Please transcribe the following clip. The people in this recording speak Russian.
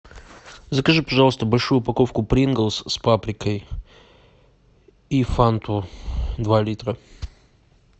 закажи пожалуйста большую упаковку принглс с паприкой и фанту два литра